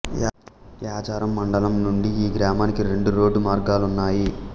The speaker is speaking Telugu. యాచారం మండలం నుండి ఈ గ్రామానికి రెండు రోడ్డు మార్గాలున్నాయి